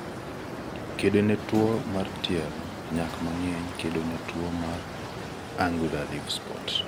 Kedo ne towo mar tielo, nyak mangeny, kedo ne twuo mar angular leaf spot. Angaza 1200 1900 2.5-3 6-12